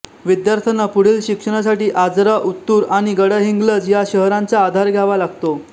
विद्यार्थ्यांना पुढील शिक्षणासाठी आजरा उत्तूर आणि गडहिंग्लज या शहरांचा आधार घ्यावा लागतो